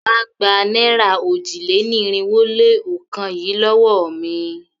Wá gba náírà òjì-lé-ní-irinwó-lé-ọ̀kan yìí lówó mi!